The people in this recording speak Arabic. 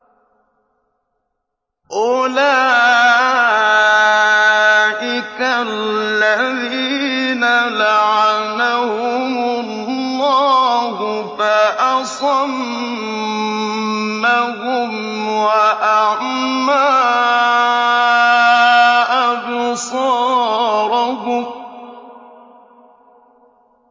أُولَٰئِكَ الَّذِينَ لَعَنَهُمُ اللَّهُ فَأَصَمَّهُمْ وَأَعْمَىٰ أَبْصَارَهُمْ